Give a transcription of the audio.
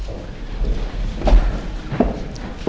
í hálfa klukkustund